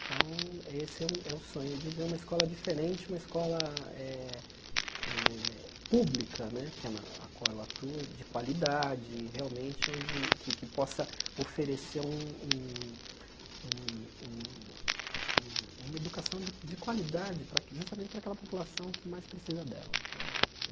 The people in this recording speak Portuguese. Então, esse é o o sonho, de ver uma escola diferente, uma escola eh eh pública né, que é na qual ela atua, de qualidade, realmente, que que possa oferecer um um um um uma educação de de qualidade justamente para aquela população que mais precisa dela né.